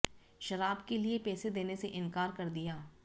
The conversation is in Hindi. शराब के लिए पैसे देने से इनकार कर दिया